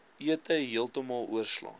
ete heeltemal oorslaan